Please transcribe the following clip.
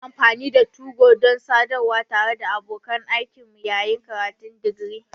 Muna amfani da 2go don sadarwa tare da abokan aikinmu yayin karatun digiri.